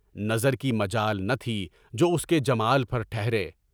نظر کی مجال نہ تھی جو اس کے جمال پر ٹھہرے۔